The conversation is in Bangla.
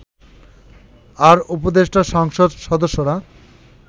আর উপদেষ্টা সংসদ সদস্যরা